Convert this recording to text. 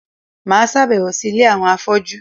Mà á sàbẹ̀wò sí Ilé àwọn afọ́jú